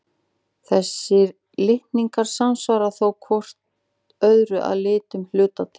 Þessir litningar samsvara þó hvor öðrum að litlum hluta til.